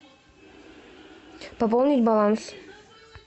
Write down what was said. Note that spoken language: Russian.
пополнить баланс